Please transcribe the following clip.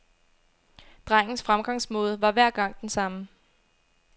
Drengens fremgangsmåde var hver gang den samme.